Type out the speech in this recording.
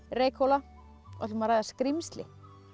Reykhóla og ætlum að ræða skrímsli